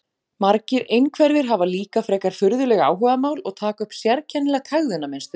Margir einhverfir hafa líka frekar furðuleg áhugamál og taka upp sérkennilegt hegðunarmynstur.